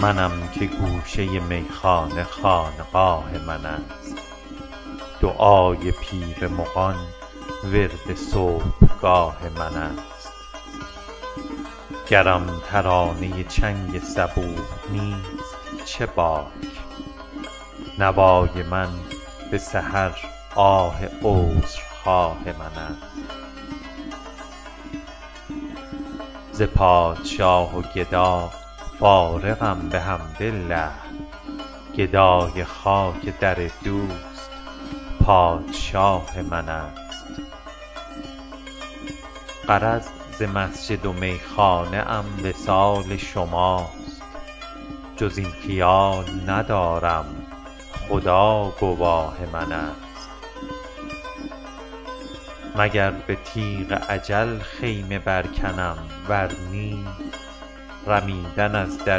منم که گوشه میخانه خانقاه من است دعای پیر مغان ورد صبحگاه من است گرم ترانه چنگ صبوح نیست چه باک نوای من به سحر آه عذرخواه من است ز پادشاه و گدا فارغم بحمدالله گدای خاک در دوست پادشاه من است غرض ز مسجد و میخانه ام وصال شماست جز این خیال ندارم خدا گواه من است مگر به تیغ اجل خیمه برکنم ور نی رمیدن از در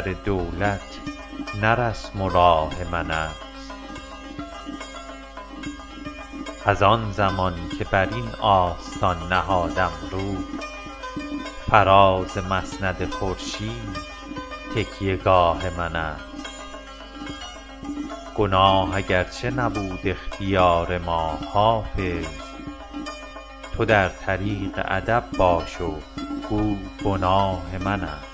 دولت نه رسم و راه من است از آن زمان که بر این آستان نهادم روی فراز مسند خورشید تکیه گاه من است گناه اگرچه نبود اختیار ما حافظ تو در طریق ادب باش گو گناه من است